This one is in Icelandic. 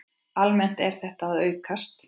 Almennt er þetta að aukast.